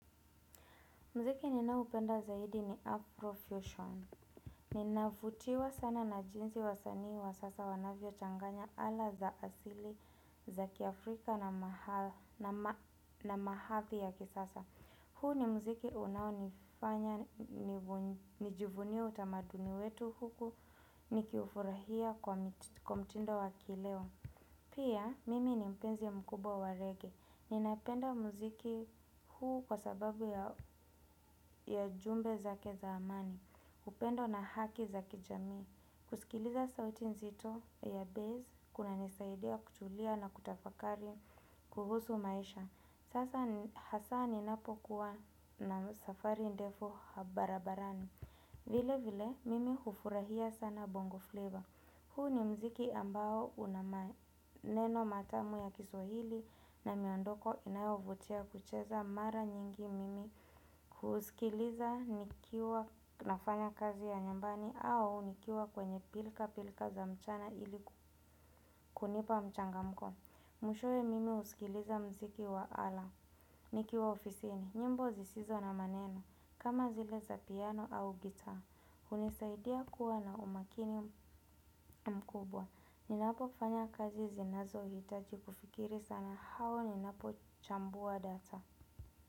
Mziki ninaupenda zaidi ni Afrofusion. Ninavutiwa sana na jinsi wasanii wa sasa wanavyochanganya ala za asili za kiafrika na maha, na ma, na mahadhi ya kisasa. Huu ni mziki unaonifanya nivu, nijivunie utamaduni wetu huku nikifurahia kwa mti, mtindo wa kileo. Pia, mimi ni mpenzi mkubwa wa reggae. Ninapenda muziki huu kwa sababu ya, ya jumbe zake za amani. Upendo na haki za kijamii. Kusikiliza sauti nzito ya bass, kunanisaidia kutulia na kutafakari kuhusu maisha. Sasa ni, hasa ninapokuwa na safari ndefu barabarani. Vile vile, mimi hufurahia sana bongo flavor. Huu ni mziki ambao una maneno matamu ya kiswahili na miondoko inayovutia kucheza mara nyingi mimi kusikiliza nikiwa nafanya kazi ya nyumbani au nikiwa kwenye pilka pilka za mchana ili kunipa mchangamko. Mwishowe mimi husikiliza muziki wa ala, nikiwa ofisini, nyimbo zisizo na maneno, kama zile za piano au gitaa. Hunisaidia kuwa na umakini mkubwa, ninapofanya kazi zinazohitaji kufikiri sana au ninapochambua data.